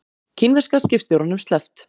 Kínverska skipstjóranum sleppt